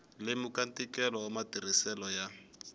lemuka ntikelo wa matirhiselo ya